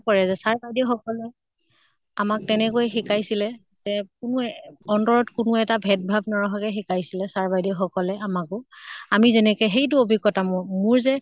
পৰে যে sir বাইদেউ সকলে আমাক তেনেকৈয়ে শিকাইছিলে যে কোনো এহ অন্তৰত কোনো এটা ভেদ ভাৱ নৰখাকৈ শিকাইছিলে sir বাইদেউ সকলে আমাকো। আমি যেনেকে সেইট অভিজ্ঞ্তা মোৰ মোৰ যে